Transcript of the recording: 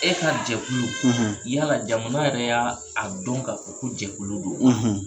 E ka jɛkulu , yala jaman yɛrɛ y'a don k'a fɔ ko jɛkulu don wa? .